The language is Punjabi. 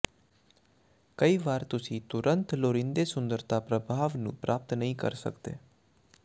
ਕਈ ਵਾਰ ਤੁਸੀਂ ਤੁਰੰਤ ਲੋੜੀਂਦੇ ਸੁੰਦਰਤਾ ਪ੍ਰਭਾਵ ਨੂੰ ਪ੍ਰਾਪਤ ਨਹੀਂ ਕਰ ਸਕਦੇ